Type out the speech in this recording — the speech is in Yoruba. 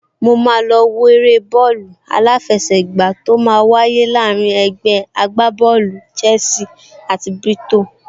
Mo máa lọ wo eré bọ́ọ̀lù aláfẹsẹ̀gbá tó máa wáyé láàrín ẹgbẹ́ agbábọ́ọ̀lù Chelsea àti Brighton